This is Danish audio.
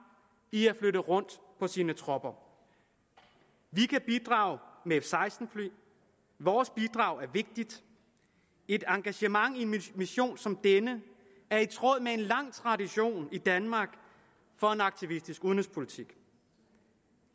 i at flytte rundt på sine tropper vi kan bidrage med f seksten fly vores bidrag er vigtigt et engagement i en mission som denne er i tråd med en lang tradition i danmark for en aktivistisk udenrigspolitik